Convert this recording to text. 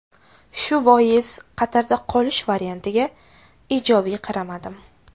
Shu bois Qatarda qolish variantiga ijobiy qaramadim.